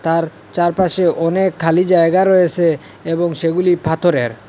তার চারপাশে অনেক খালি জায়গা রয়েসে এবং সেগুলি ফাথরের ।